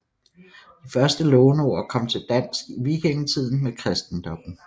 De første låneord kom til dansk i vikingetiden med kristendommen